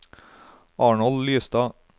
Arnold Lystad